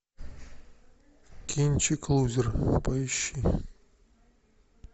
кинчик лузер поищи